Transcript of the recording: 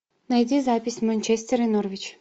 найди запись манчестер и норвич